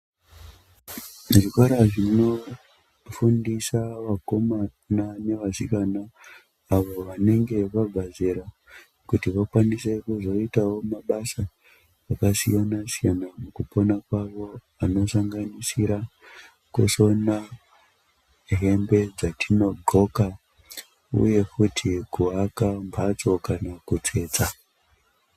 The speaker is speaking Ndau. Zvikora zvinofundisa vakomana nevasikana avo vanenge vabva zera avo vanenge vabva zera kuti vakwanise kuzoitawo mabasa akasiyana-siyana mukupona kwavo anosanganisira kusona hembe dzatinodxoka uye futi kuaka mhatso kana kutsetsa.